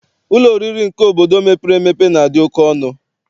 Ụlọ oriri nke obodo mepere emepe na-adị oke ọnụ.